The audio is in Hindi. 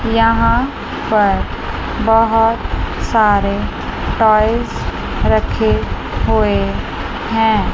यहां पर बहोत सारे टॉयज रखे हुए हैं।